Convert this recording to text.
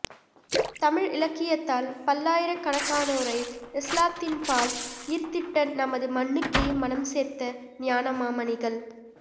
தமிழ் இலக்கியத்தால் பல்லாயிரக் கணக்கானோரை இஸ்லாத்தின்பால் ஈர்த்திட்ட நமது மண்ணுக்கே மணம் சேர்த்த ஞானமாமணிகள்